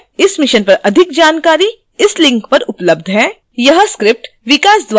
इस mission पर अधिक जानकारी इस link पर उपलब्ध है